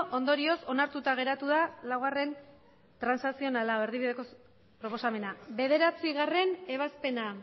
ondorioz onartuta geratu da laugarrena transazionala erdibideko proposamena bederatzigarrena ebazpena